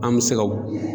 An bɛ se ka